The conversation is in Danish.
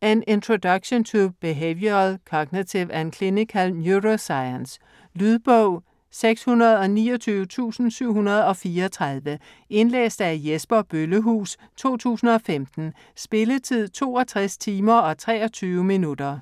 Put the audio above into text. An introduction to behavioral, cognitive, and clinical neuroscience. Lydbog 629734 Indlæst af Jesper Bøllehuus, 2015. Spilletid: 62 timer, 23 minutter.